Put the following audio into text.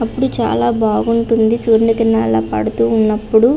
అప్పుడు చాలా బాగుంటుంది సూరిని కిరణాలూ అల పడుతూ ఉన్నప్పుడు.